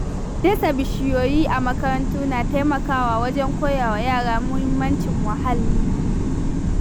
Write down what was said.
Dasa bishiyoyi a makarantu na taimakawa wajen koya wa yara mahimmancin muhalli.